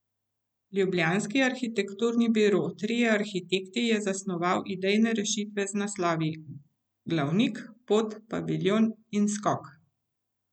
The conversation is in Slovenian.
Ljubljanski arhitekturni biro Trije arhitekti je zasnoval idejne rešitve z naslovi Glavnik, Pot, Paviljon in Skok.